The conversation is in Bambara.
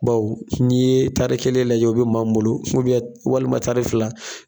Baw n'i ye tari kelen lajɛ o bɛ maa min bolo walima tari fila.